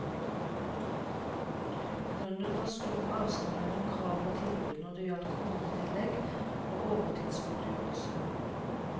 Grunnen var stor avstand mellom krav og tilbud når det gjaldt kronetillegg og overtidsgodtgjørelse.